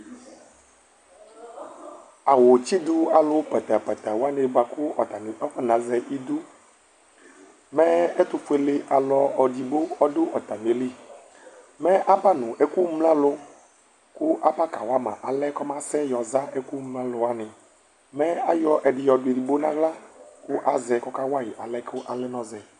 Awʋtsɩdʋ alu pǝtǝ pǝtǝ wanɩ bʋakʋ atani akɔnazɛ idu Mɛ ɛtʋfuele alu edigbo ɔdʋ atamili Mɛ aba nʋ ɛkʋmlǝlʋ, kʋ Aba kawa ma alɛ kʋ ɔmasɛ yɔza ɛkʋmlǝlʋ wani Mɛ ayɔ ɛdɩ yɔdʋ edigbo nʋ aɣla, kʋ azɛ, kʋ ɔka wayi alɛ kʋ alɛ nʋ ɔzɛ